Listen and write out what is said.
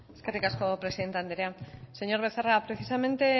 eskerrik asko presidente andrea señor becerra precisamente